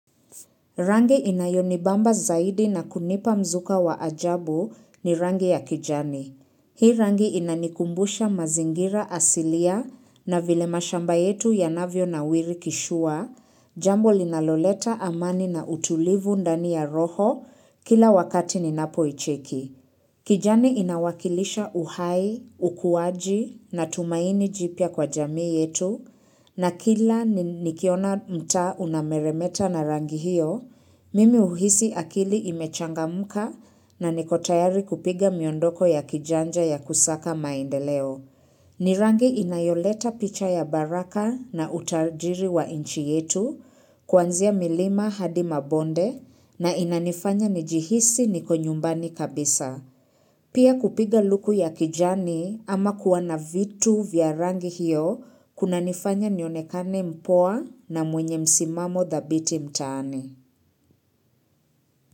Rangi inayonibamba zaidi na kunipa mzuka wa ajabu ni rangi ya kijani. Hii rangi inanikumbusha mazingira asilia na vile mashamba yetu yanavyonawiri kishua, jambo linaloleta amani na utulivu ndani ya roho kila wakati ninapoicheki. Kijani inawakilisha uhai, ukuwaji na tumaini jipya kwa jamii yetu na kila nikiona mtaa unameremeta na rangi hiyo, mimi huhisi akili imechangamka na niko tayari kupiga miondoko ya kijanja ya kusaka maendeleo. Ni rangi inayoleta picha ya baraka na utajiri wa inchi yetu, kwanzia milima hadi mabonde na inanifanya nijihisi niko nyumbani kabisa. Pia kupiga luku ya kijani ama kuwa na vitu vya rangi hiyo, kunanifanya nionekane mpoa na mwenye msimamo dhabiti mtaani.